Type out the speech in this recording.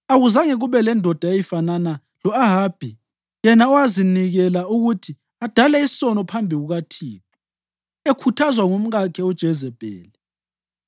(Akuzange kube lendoda eyayifanana lo-Ahabi yena owazinikela ukuthi adale isono phambi kukaThixo, ekhuthazwa ngumkakhe uJezebheli.